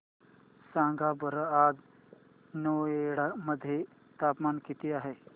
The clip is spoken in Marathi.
सांगा बरं आज नोएडा मध्ये तापमान किती आहे